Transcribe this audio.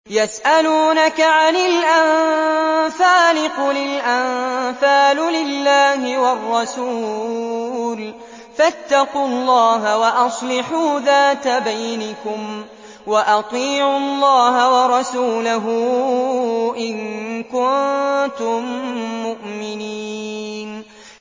يَسْأَلُونَكَ عَنِ الْأَنفَالِ ۖ قُلِ الْأَنفَالُ لِلَّهِ وَالرَّسُولِ ۖ فَاتَّقُوا اللَّهَ وَأَصْلِحُوا ذَاتَ بَيْنِكُمْ ۖ وَأَطِيعُوا اللَّهَ وَرَسُولَهُ إِن كُنتُم مُّؤْمِنِينَ